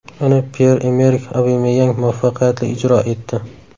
Uni Pyer-Emerik Obameyang muvaffaqiyatli ijro etdi.